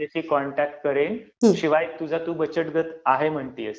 म्हणजे मी कॉन्टॅक्ट करेन, शिवाय तुझा तू बचत गट आहे म्हणत आहेस.